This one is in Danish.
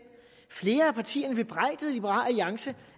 flere af partierne bebrejdede liberal alliance